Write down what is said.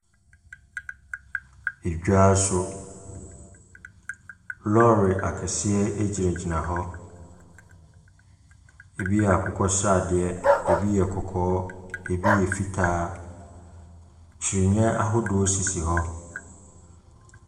Eda so. Lorry akɛseɛ gyinagyina hɔ. ebi yɛ akokɔ sradeɛ, ebi yɛ kɔkɔɔ ɛbi yɛ fitaa. Kyinniiɛ ahodoɔ sisi hɔ.